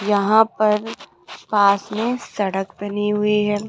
यहां पर पास में सड़क बनी हुई है।